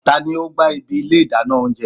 Tani o gba ibi ilé idana ounjẹ?